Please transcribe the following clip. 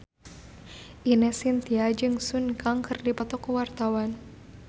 Ine Shintya jeung Sun Kang keur dipoto ku wartawan